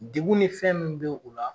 Degun ni fɛn min bɛ u la